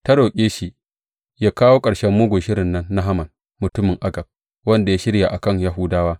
Ta roƙe shi yă kawo ƙarshen mugun shirin nan na Haman, mutumin Agag; wanda ya shirya a kan Yahudawa.